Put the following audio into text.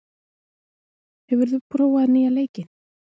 , hefur þú prófað nýja leikinn?